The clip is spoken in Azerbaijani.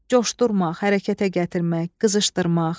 Coşdurmaq, hərəkətə gətirmək, qızışdırmaq.